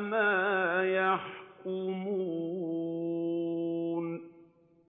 مَا يَحْكُمُونَ